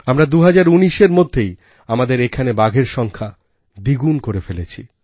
আমরা ২০১৯এর মধ্যেই আমাদের এখানে বাঘের সংখ্যা দ্বিগুণ করে ফেলেছি